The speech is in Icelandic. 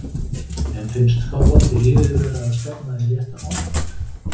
En finnst Þorvaldi liðið vera að stefna í rétta átt?